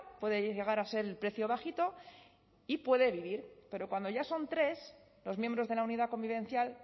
puede llegar a ser el precio bajito y puede vivir pero cuando ya son tres los miembros de la unidad convivencial